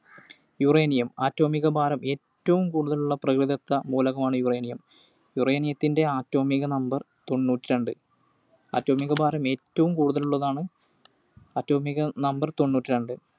Uranium. അറ്റോമിക ഭാരം ഏറ്റവും കൂടുതലുള്ള പ്രകൃതിദത്ത മൂലകമാണ് Uranium. Uranium ത്തിൻറെ Atomic Number തൊണ്ണൂറ്റിരണ്ട്‌. അറ്റോമിക ഭാരം ഏറ്റവും കൂടുതലുള്ളതാണ്. Atomic Number തൊണ്ണൂറ്റിരണ്ട്‌.